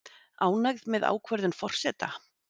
Ánægð með ákvörðun forseta